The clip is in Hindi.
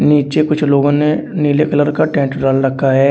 नीचे कुछ लोगों ने नीले कलर का टेंट डाल रखा है।